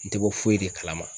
N te bɔ foyi de kalama.